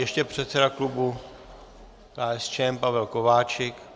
Ještě předseda klubu KSČM Pavel Kováčik.